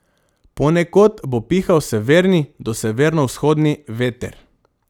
Ponekod bo pihal severni do severovzhodni veter.